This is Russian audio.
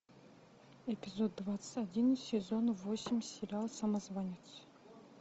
эпизод двадцать один сезон восемь сериал самозванец